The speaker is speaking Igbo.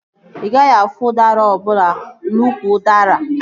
Ị gaghị afụ udara ọbụla n'úkwù udara